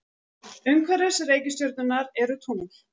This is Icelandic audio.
Umhverfis reikistjörnurnar eru tungl.